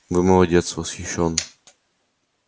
вы молодец восхищён